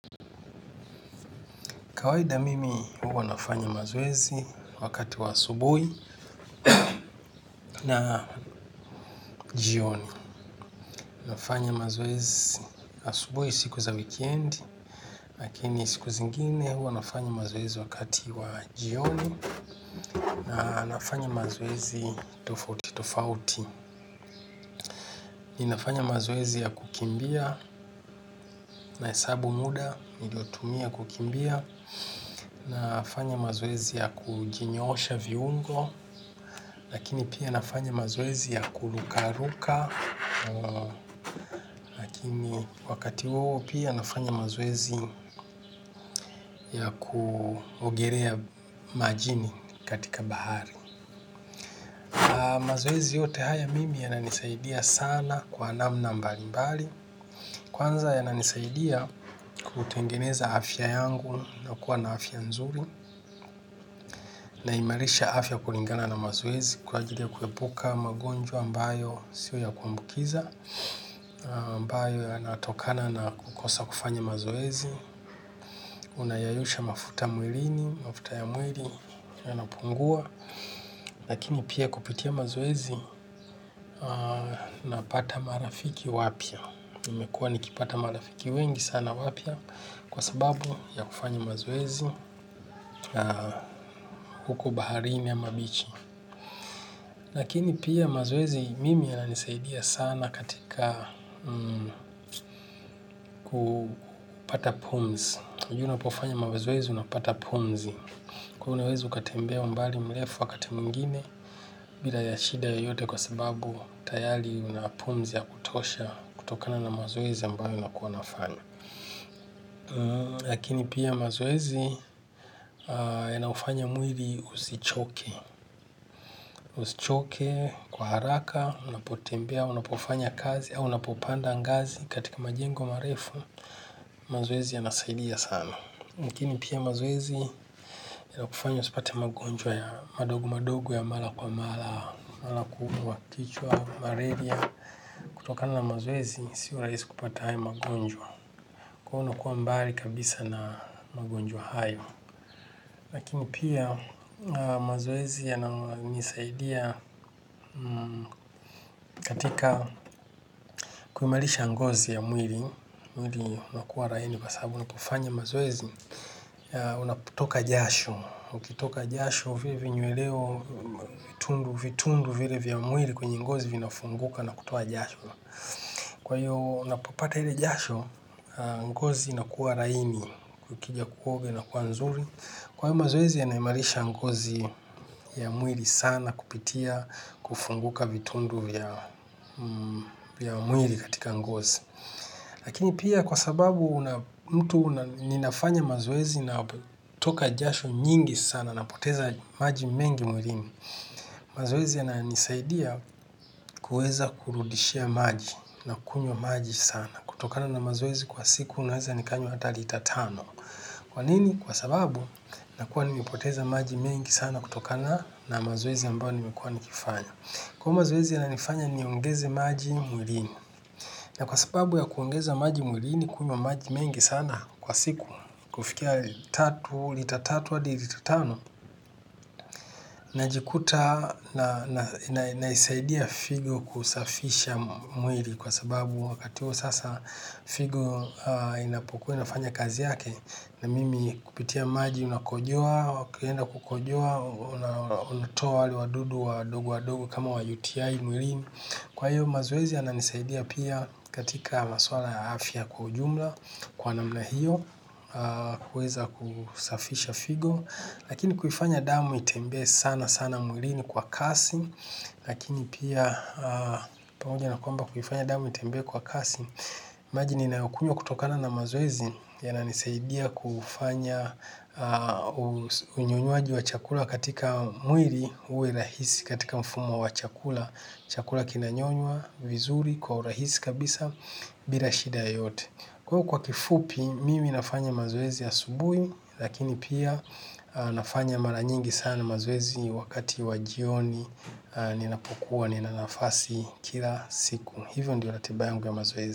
Kawaida mimi huwa nafanya mazoezi wakati wa asubuhi na jioni. Nafanya mazoezi asubuhi siku za wikendi, lakini siku zingine huwa nafanya mazoezi wakati wa jioni na nafanya mazoezi tofauti tofauti. Ninafanya mazoezi ya kukimbia na hesabu muda, niliotumia kukimbia. Nafanya mazoezi ya kujinyoosha viungo, lakini pia nafanya mazoezi ya kurukaruka. Wakati huo pia nafanya mazoezi ya kuogelea majini katika bahari. Mazoezi yote haya mimi yananisaidia sana kwa namna mbalimbali. Kwanza yananisaidia kutengeneza afya yangu na kuwa na afya nzuri. Naimarisha afya kulingana na mazoezi kwa ajili ya kuepuka magonjwa ambayo si ya kuambukiza ambayo yanatokana na kukosa kufanya mazoezi. Unayeyusha mafuta mwilini, mafuta ya mwili yanapungua lakini pia kupitia mazoezi napata marafiki wapya nimekuwa nikipata marafiki wengi sana wapya kwa sababu ya kufanya mazoezi huku baharini ama bichi, lakini pia mazoezi mimi yananisaidia sana katika kupata pumzi hivi unapofanya mazoezi unapata pumzi. Kuwa unaweza kutembea umbali mrefu wakati mwingine, bila shida yoyote kwa sababu tayari una pumzi ya kutosha kutokana na mazoezi ambayo unakuwa unafanya. Lakini pia mazoezi yanaufanya mwili usichoke. Usichoke kwa haraka, unapotembea, unapofanya kazi, au unapopanda ngazi katika majengo marefu, mazoezi yanasaidia sana. Lakini pia mazoezi ya kufanya usipate magonjwa ya madogo madogo ya mara kwa mara, kama kuumwa kichwa, malaria. Kutokana na mazoezi, si rahisi kupata hayo magonjwa. Kwa hiyo unakuwa mbali kabisa na magonjwa hayo. Lakini pia mazoezi yananisaidia katika kuimarisha ngozi ya mwili, mwili unakuwa laini kwa sababu unapofanya mazoezi, unapotoka jasho. Ukitoka jasho vile vinyweleo vitundu vile vya mwili kwenye ngozi vinafunguka na kutoa jasho. Kwa hiyo unapoipata ile jasho, ngozi inakuwa laini ukija kuoga inakuwa nzuri. Kwa hiyo mazoezi yanaimarisha ngozi ya mwili sana kupitia kufunguka vitundu vya mwili katika ngozi. Lakini pia kwa sababu mtu ninafanya mazoezi ninatoka jasho nyingi sana ninapoteza maji mengi mwilini. Mazoezi yananisaidia kuweza kurudisha maji nakunywa maji sana. Kutokana na mazoezi kwa siku naweza nikanywa hata lita tano. Kwa nini? Kwa sababu nakuwa nimepoteza maji mengi sana kutokana na mazoezi ambayo nimekuwa nikifanya. Kwa hiyo mazoezi yananifanya niongeze maji mwilini. Na kwa sababu ya kuongeza maji mwilini kunywa maji mengi sana kwa siku, kufikia, lita tatu hadi lita tano, najikuta na naisaidia figo kusafisha mwili kwa sababu wakati huo sasa figo inapokuwa inafanya kazi yake na mimi kupitia maji ninakojoa, ukienda kukojoa, unatoa wale wadudu wadogo wadogo kama wa UTI mwilini. Kwa hiyo mazoezi yananisaidia pia katika masuala ya afya kwa ujumla, kwa namna hiyo, huweza kusafisha figo, lakini kufanya damu itembee sana sana mwilini kwa kasi, lakini pia pamoja na kwamba kufanya damu itembee kwa kasi. Maji ninayokunywa kutokana na mazoezi yananisaidia kufanya unyonywaji wa chakula katika mwili uwe rahisi katika mfumo wa chakula. Chakula kinanyonywa vizuri kwa urahisi kabisa bila shida yoyote. Kwa kifupi mimi nafanya mazoezi ya asubuhi lakini pia nafanya mara nyingi sana mazoezi wakati wa jioni ninapokuwa nina nafasi kila siku. Hiyo ndiyo ratiba yangu ya mazoezi.